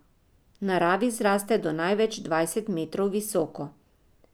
V naravi zraste do največ dvajset metrov visoko.